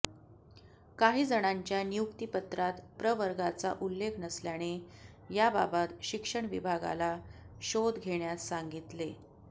काही जणांच्या नियुक्तीपत्रात प्रवर्गाचा उल्लेख नसल्याने याबाबत शिक्षण विभागाला शोध घेण्यास सांगितले